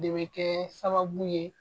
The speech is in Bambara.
De bɛ kɛ sababu ye